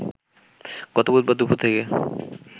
গত বুধবার দুপুর থেকে